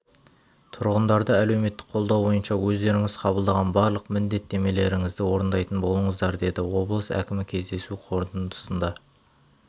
тұрғындарды әлеуметтік қолдау бойынша өздеріңіз қабылдаған барлық міндеттемелеріңізді орындайтын болыңыздар деді облыс әкімі кездесу қорытындысында